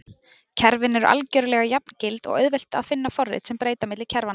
Kerfin eru algjörlega jafngild og auðvelt að finna forrit sem breyta á milli kerfanna.